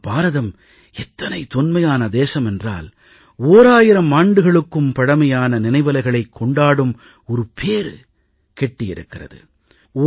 ஆனால் பாரதம் எத்தனை தொன்மையான தேசம் என்றால் ஓராயிரம் ஆண்டுகளுக்கும் பழமையான நினைவலைகளைக் கொண்டாடும் பேறு கிட்டி இருக்கிறது